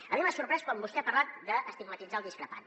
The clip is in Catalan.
a mi m’ha sorprès quan vostè ha parlat d’estigmatitzar el discrepant